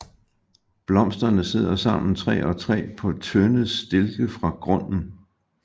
Blomsterne sidder sammen tre og tre på tynde stilke fra grunden